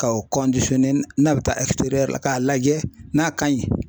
Ka o n'a bɛ taa la k'a lajɛ n'a ka ɲi .